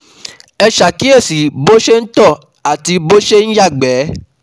Ẹ ṣàkíyèsí bó ṣe ń tọ àti bó ṣe ń yàgbẹ́